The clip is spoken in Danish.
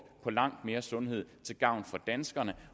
på langt mere sundhed til gavn for danskerne